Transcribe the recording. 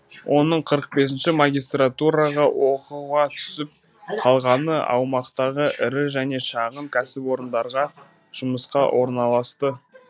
оның қырық бесінші магистратураға оқуға түсіп қалғаны аумақтағы ірі және шағын кәсіпорындарға жұмысқа орналасты